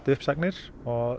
uppsagnir